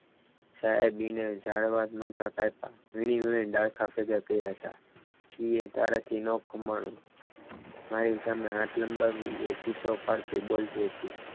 સાહેબ એને ઝાડબાડ નહોતા કાપ્યા વિણી વીણીને ડાળખા ભેગા કર્યા હતા એ તારાથી ના ખમણૂ મારી સાથે હાથ લંબાવીએ ચીસો પાડતી બોલતી હતી.